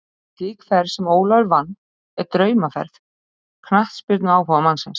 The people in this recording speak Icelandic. Slík ferð sem Ólafur vann er draumaferð knattspyrnuáhugamannsins.